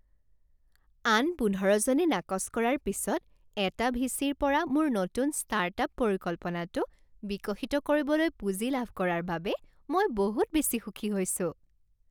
আন পোন্ধৰজনে নাকচ কৰাৰ পিছত এটা ভিচিৰ পৰা মোৰ নতুন ষ্টাৰ্ট আপ পৰিকল্পনাটো বিকশিত কৰিবলৈ পুঁজি লাভ কৰাৰ বাবে মই বহুত বেছি সুখী হৈছোঁ।